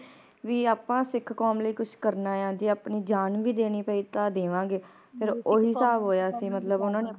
ਵੀ ਆਪਾ ਸਿੱਖ ਕੌਮ ਲਈ ਕੁਝ ਕਰਨਾ ਆ ਜੇ ਆਪਣੀ ਜਾਣ ਵੀ ਦੇਣੀ ਪਈ ਤਾ ਦੇਵਾਂਗੇ ਫਿਰ ਓ ਹਿਸਾਬ ਹੋਇਆ ਸੀ ਮਤਲਬ ਓਹਨਾ ਨੇ